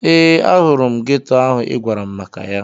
Ee, ahụrụ m geto ahụ ị gwara m maka ya.